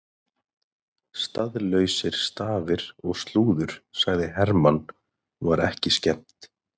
Staðlausir stafir og slúður sagði Hermann og var ekki skemmt.